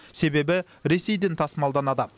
себебі ресейден тасымалданады